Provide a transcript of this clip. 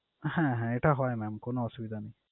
হ্যাঁ হ্যাঁ এটা হয় mam কোন অসুবিধা নেই।